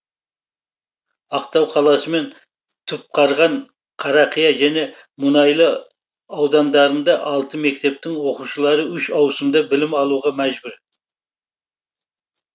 ақтау қаласы мен түпқарған қарақия және мұнайлы аудандарында алты мектептің оқушылары үш ауысымда білім алуға мәжбүр